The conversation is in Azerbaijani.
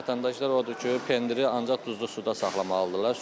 Vətəndaşlar odur ki, pendiri ancaq duzlu suda saxlamalıdırlar.